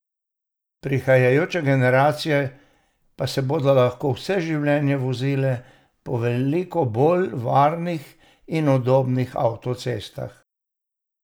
Prihajajoče generacije pa se bodo lahko vse življenje vozile po veliko bolj varnih in udobnih avtocestah.